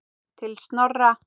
Til Snorra.